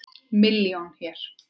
Milljón hér.